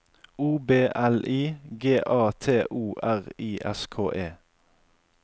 O B L I G A T O R I S K E